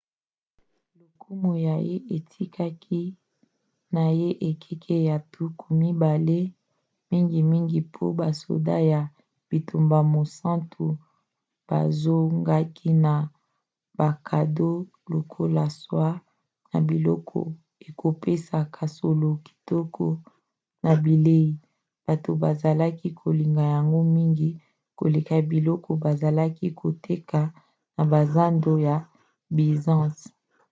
lokumu na ye ekitaki na ekeke ya tuku mibale mingimingi po basoda ya bitumba mosantu bozongaki na bakado lokola soies na biloko ekopesaka solo kitoko na bilei; bato bazalaki kolinga yango mingi koleka biloko bazalaki koteka na bazando ya byzance